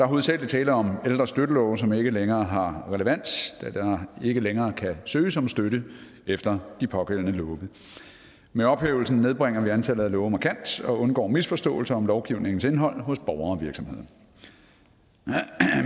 hovedsagelig tale om ældre støttelove som ikke længere har relevans da der ikke længere kan søges om støtte efter de pågældende love med ophævelsen nedbringer vi antallet af love markant og undgår misforståelser om lovgivningens indhold hos borgere og virksomheder